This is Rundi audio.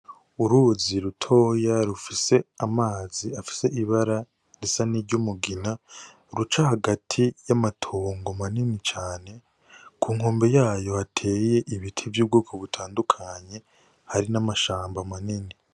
Uruzi rutoya rufise amazi afise ibara risa n'iryumugina, ruca hagati y'amatongo manini cane, ku nkombe y'aho hateye ibiti vy'ubwoko butandukanye, hari n'amashamba manini.